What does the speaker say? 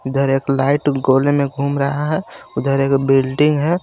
इधर एक लाइट गोले में घूम रहा है उधर एक बिल्डिंग है.